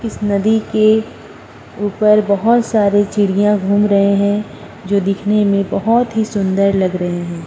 इस नदी के ऊपर बोहोत सारी चिड़िया घूम रहे हैं जो दिखने में बोहुत सुन्दर लग रहे हैं।